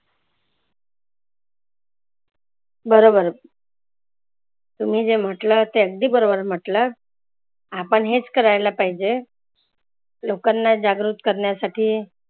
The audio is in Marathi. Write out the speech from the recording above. बरोबर तुम्ही जे म्हटलं ते अगदी बरोबर म्हटलंं आपण हेच करायला पाहीजे. लोकांना जागृक करण्यासाठी